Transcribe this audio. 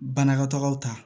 Banakɔtagaw ta